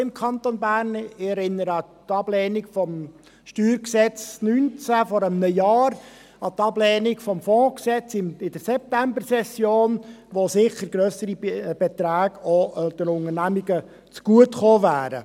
Ich erinnere an die Ablehnung der StG-Revision 2019 vor einem Jahr, an die Ablehnung des Gesetzes über den Fonds zur Finanzierung von strategischen Investitionsvorhaben (FFsIG) in der Septembersession, durch die Unternehmen sicher auch grössere Beträge zugutegekommen wären.